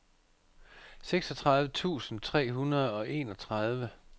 seksogtredive tusind tre hundrede og enogtredive